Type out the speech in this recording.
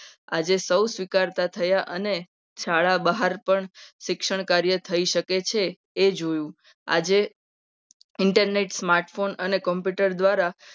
આજે સૌ સ્વીકારતા થયા. અને શાળા બહાર પણ શિક્ષણ કાર્ય થઈ શકે. એ જોયું આજે internet smartphone અને computer દ્વારા